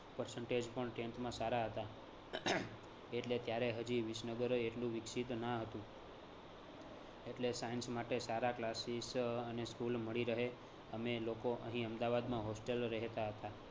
percentage પણ tenth માં સારા હતા એટલે ત્યારે હજી વિસનગર એટલું વિકસિત ન હતું. એટલે science માટે સારા classes અને school મળી રહે અમે લોકો અહી અમદાવાદમાં hostel એ રહેતા હતા